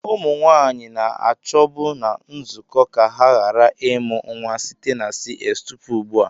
Ụmụ nwanyị na-achọbu na nzuzo ka ha ghara ịmụ nwa site na CS tupu ugbu a.